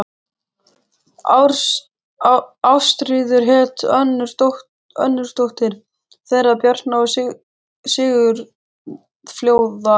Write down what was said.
Ástríður hét önnur dóttir þeirra Bjarna og Sigurfljóðar.